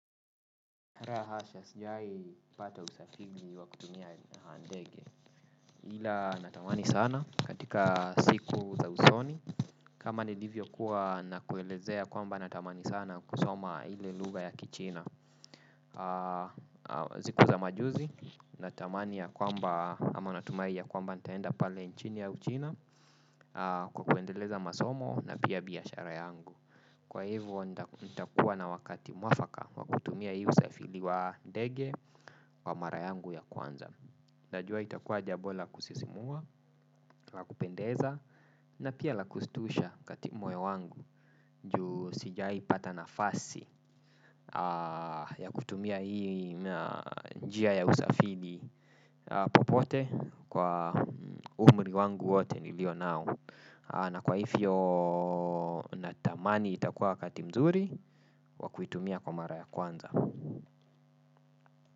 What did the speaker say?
La hasha sijawahipata usafiri wa kutumia ndege ila natamani sana katika siku za usoni. Kama nilivyokuwa nakuelezea kwamba natamani sana kusoma ile lugha ya Kichina. Siku za majuzi, natamani ya kwamba ama natumai ya kwamba nitaenda pale nchini ya Uchina kwa kuendeleza masomo na pia biashara yangu. Kwa hivo nitakuwa na wakati mwafaka wa kutumia hii usafiri wa ndege kwa mara yangu ya kwanza. Najua itakuwa jambo la kusisimua la kupendeza na pia la kushtusha kati moyo wangu. Juu sijawaipata nafasi ya kutumia hii njia ya usafiri. Popote kwa umri wangu wote nilio nao na kwa hivyo natamani itakuwa wakati mzuri wa kuitumia kwa mara ya kwanza.